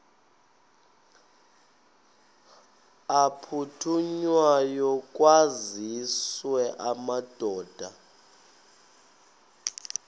aphuthunywayo kwaziswe amadoda